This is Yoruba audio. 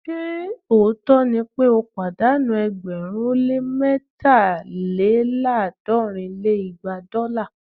ṣe òótọ́ ni pé ó pàdánù ẹgbẹ̀rún ó lé mẹ́taléláàádọ́rin lé igba dọ́là?